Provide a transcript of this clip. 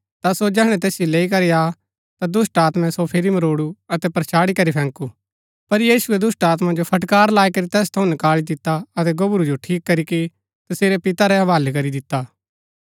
ता सो जैहणै तैसिओ लैई करी आ ता दुष्‍टात्मैं सो फिरी मरोडु अतै परछाड़ी करी फैकुं पर यीशुऐ दुष्‍टात्मा जो फटकार लाई करी तैस थऊँ नकाळी दिता अतै गोबरू जो ठीक करीके तसेरै पिता रै हवालै करी दिता